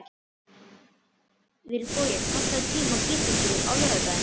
Vilbogi, pantaðu tíma í klippingu á laugardaginn.